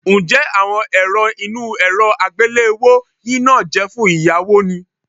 Ǹjẹ́ àwọn èrọ inú èrọ àgbéléwò yìí náà jẹ́ fún ìyáwó ni?